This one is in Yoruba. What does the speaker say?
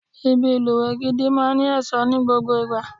Ibi ìlùwẹ̀ gidi máa ní ẹ̀ṣọ́ ni gbogbo ìgbà.